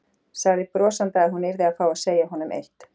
Sagði brosandi að hún yrði að fá að segja honum eitt.